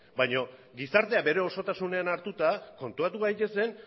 baina gizartea bere osotasunean hartuta konturatu gaitezen